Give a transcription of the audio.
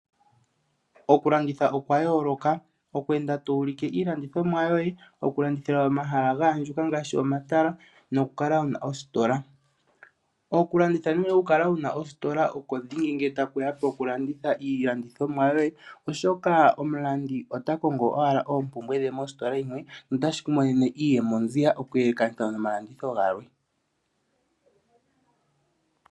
Oku landitha okwa yooloka, oku enda to ulike iilandithomwa yoye, oku landithila pomahala ngoka gaandjuka ngashi omatala noku kala wuna ositola. Okulanditha nenge oku kala wuna ostola oko dhingi nge tashiya mo kulanditha iilandithomwa yoye, oshoka omulandi ota kongo wala oompumbwe dhe mostola yimwe, nota shi ku monene iiyemo ziya , oku yelekanitha no malanditho gamwe.